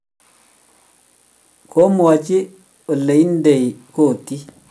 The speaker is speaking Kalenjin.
komwaochi ole indeni kotit